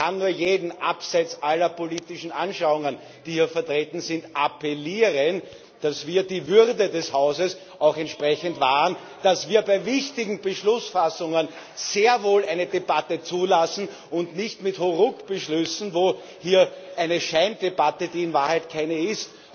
Und ich kann nur an jeden, abseits aller politischen Anschauungen, die hier vertreten sind, appellieren, dass wir die Würde des Hauses auch entsprechend wahren, dass wir bei wichtigen Beschlussfassungen sehr wohl eine Debatte zulassen und nicht mit Hauruck Beschlüssen eine Scheindebatte führen, die in Wahrheit keine ist,